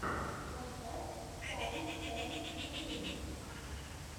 поставь саинтсэм в ютюбе